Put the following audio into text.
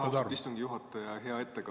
Aitäh, austatud istungi juhataja!